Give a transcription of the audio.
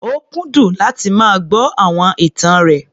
Ó kúndùn láti máa gbọ́ àwọn ìtàn rẹ̀.